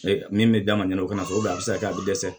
Min bɛ d'a ɲɛna o fana a bɛ se ka kɛ a bɛ dɛsɛ